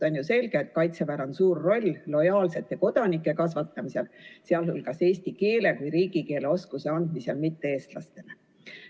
On ju selge, et Kaitseväel on suur roll lojaalsete kodanike kasvatamisel, sealhulgas eesti keele kui riigikeele oskuse andmisel mitte-eestlastele.